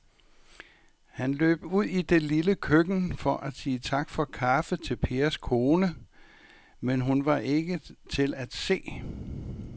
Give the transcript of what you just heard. Han løb ud i det lille køkken for at sige tak for kaffe til Pers kone, men hun var ikke til at se.